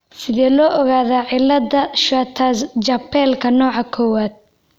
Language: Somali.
Sidee loo ogaadaa cilada Schwartz Jampelka nooca kowaad?